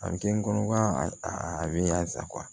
A bɛ kɛ n kɔnɔ a bɛ yan sa